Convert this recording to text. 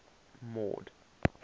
mord